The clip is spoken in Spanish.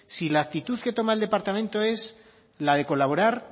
si la actitud que toma el departamento es la de colaborar